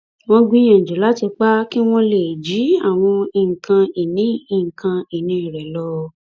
wọn gbìyànjú láti pa á kí wọn lè jí àwọn nǹkan ìní nǹkan ìní rẹ lọ